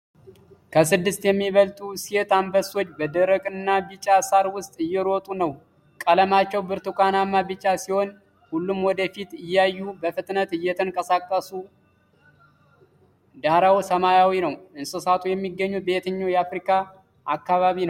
ከስድስት የሚበልጡ ሴት አንበሶች በደረቅና ቢጫ ሳር ውስጥ እየሮጡ ነው። ቀለማቸው ብርቱካናማ ቢጫ ሲሆን ሁሉም ወደ ፊት እያዩ በፍጥነት ይንቀሳቀሳሉ። ዳራው ሰማያዊ ነው። እንስሳቱ የሚገኙት በየትኛው የአፍሪካ አካባቢ ነው?